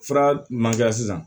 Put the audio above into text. Fura min man kɛ sisan